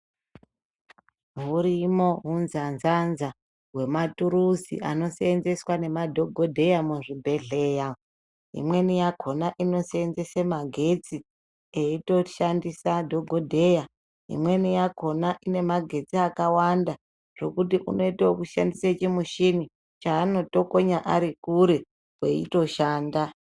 Hurimo unzanzanza hwematurusi anosevenzeswa namadhokodheya muzvibhedhlera, imweni yakona inosevenzese magetsi eitoshandise dhokodheya, imweni yakona inemagetsi akawanda zvekuti unoite kushandise chimushini chaanotokonya ari kure eitoshanda.